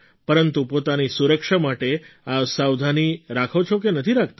પરંતુ પોતાની સુરક્ષા માટે આ સાવધાની રાખો છો કે નથી રાખતા